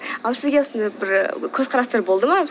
ал сізге осындай бір көзқарастар болды ма